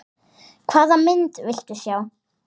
Hvaða mynd viltu sjá?